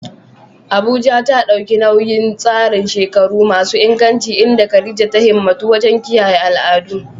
Abuja ta ɗauki nauyin tsarin shekaru masu inganci inda Khadija ta himmatu wajen kiyaye al'adu.